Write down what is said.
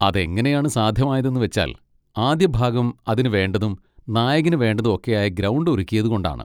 അതെങ്ങനെയാണ് സാധ്യമായതെന്ന് വെച്ചാൽ, ആദ്യഭാഗം അതിന് വേണ്ടതും നായകന് വേണ്ടതും ഒക്കെയായ ഗ്രൗണ്ട് ഒരുക്കിയത് കൊണ്ടാണ്.